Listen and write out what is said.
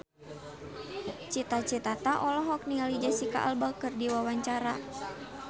Cita Citata olohok ningali Jesicca Alba keur diwawancara